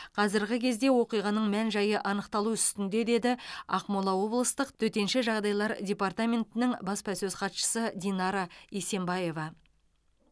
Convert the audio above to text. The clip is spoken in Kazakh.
қазіргі кезде оқиғаның мән жайы анықталу үстінде деді ақмола облыстық төтенше жағдайлар департаментінің баспасөз хатшысы динара есенбаева